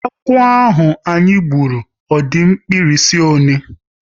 Agwo ahụ anyị gburu, ọ di mkpirisi ọle?